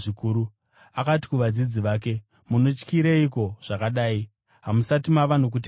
Akati kuvadzidzi vake, “Munotyireiko zvakadai? Hamusati mava nokutenda here?”